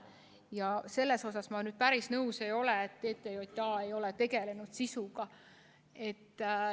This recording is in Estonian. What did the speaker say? Aga sellega ma päris nõus ei ole, et TTJA ei ole tegelenud sisuga.